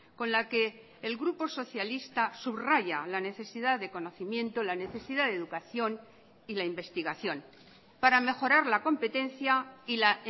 con la que el grupo socialista subraya la necesidad de conocimiento la necesidad de educación y la investigación para mejorar la competencia y la